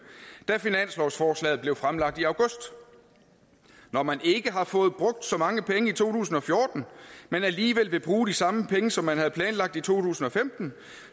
da finanslovsforslaget blev fremsat i august når man ikke har fået brugt så mange penge i to tusind og fjorten men alligevel vil bruge de samme penge som man havde planlagt i to tusind og femten